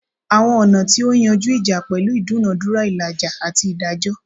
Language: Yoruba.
Awọn ọna ti o yanju ija pẹlu idunadura, ilaja, ati idajọ